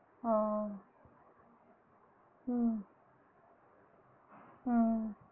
ஆஹ் உம் ஆஹ்